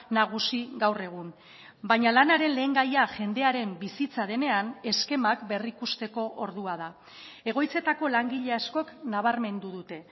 nagusi gaur egun baina lanaren lehen gaia jendearen bizitza denean eskemak berrikusteko ordua da egoitzetako langile askok nabarmendu dute